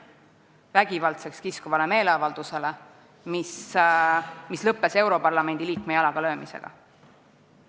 Vägivaldseks kiskuv meeleavaldus lõppes europarlamendi liikme jalaga löömisega.